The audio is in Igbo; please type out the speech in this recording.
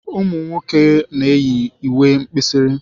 Ụmụ nwoke na-eyi uwe mkpirisi.